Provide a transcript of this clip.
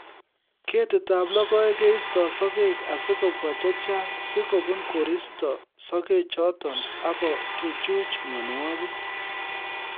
Ketikab logoek keistoi sokek asikobwa che chang' si kobun koristo sokechoto akochuchuch mienwokik